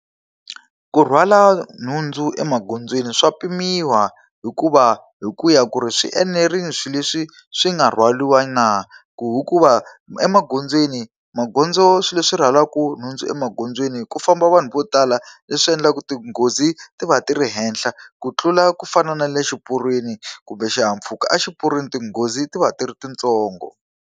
Ku rhwala nhundzu emagondzweni swa pimiwa hikuva hi ku ya ku ri swi enerile swilo leswi swi nga rhwariwa na. Hikuva emagondzweni magondzo swilo leswi rhwalaka nhundzu emagondzweni ku famba vanhu vo tala, leswi endlaka tinghozi ti va ti ri henhla ku tlula ku fana na le xiporweni kumbe xihahampfhuka. Exiporweni tinghozi ti va tirhi titsongo.